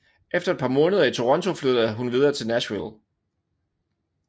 Efter et par måneder i Toronto flyttede hun videre til Nashville